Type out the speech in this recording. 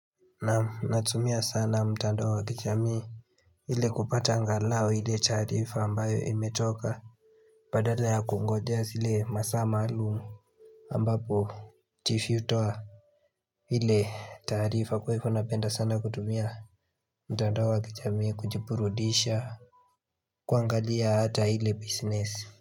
Naam natumia sana mtandao wa kijamii ili kupata angalau ile taarifa ambayo imetoka badala ya kungojea zile masaa maalum ambapo chifu hutoa ile taarifa kwa hivyo napenda sana kutumia Mtando wa kijamii kujiburudisha kuangalia hata ile business.